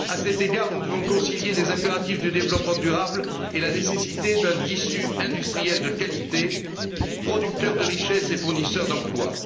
À cet égard, nous devons concilier les impératifs de développement durable et la nécessité d'un tissu industriel de qualité, producteur de richesses et fournisseur d'emplois.